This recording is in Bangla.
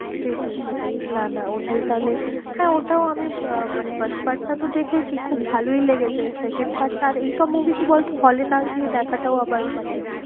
সেটাই সেটাই, না না ওটাই তাহলে হ্যাঁ ওটাও আমি আহ মানে first part টা তো দেখেছি, খুব ভালোই লেগেছে second part টা আর এইসব movie কি বল তো hall এ না গিয়ে দেখাটাও আবার মানে